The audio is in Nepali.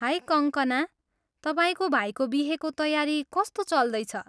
हाई कङ्कना! तपाईँको भाइको बिहेको तयारी कस्तो चल्दैछ?